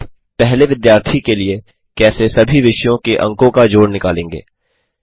आप पहले विद्यार्थी के लिए कैसे सभी विषयों के अंकों का जोड़ निकालेंगे